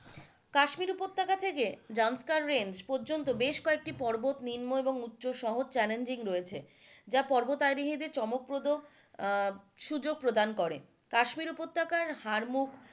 কাশ্মীর উপত্যকা থেকে জান্সকার রেঞ্জ পর্যন্ত বেশ কয়েকটি পর্বত নিম্ন এবং উচ সহ চ্যালেঞ্জিং রয়েছে যা পরবরারোহী দের জন্য চমকপ্রদ সুযোগ প্রদান করে কাশ্মীর উপত্যকায় হারমুখ,